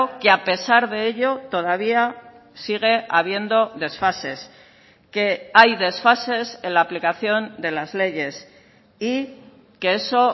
que a pesar de ello todavía sigue habiendo desfases que hay desfases en la aplicación de las leyes y que eso